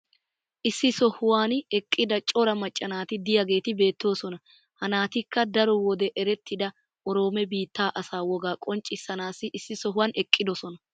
Issi sohuwan eqqida cora macca naati diyaageeti beetoosona. Ha naatikka daro wode erettida Oroomo biitaa asaa wogaa qonnccssanaassi issi sohuwan eqqidosona.